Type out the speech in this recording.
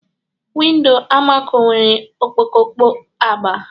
Window Almaco nwere okpokolo agba